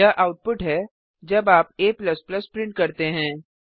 यह आउटपुट है जब आप a प्रिंट करते हैं